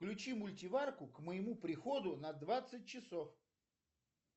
включи мультиварку к моему приходу на двадцать часов